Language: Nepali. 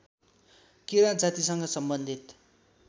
किराँत जातिसँग सम्बन्धित